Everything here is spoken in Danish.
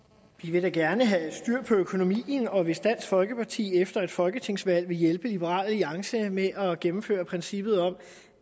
vil da gerne have styr på økonomien og hvis dansk folkeparti efter et folketingsvalg vil hjælpe liberal alliance med at gennemføre princippet om